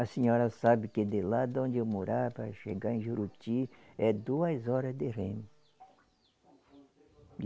A senhora sabe que de lá de onde eu morava, para chegar em Juruti, é duas horas de remo.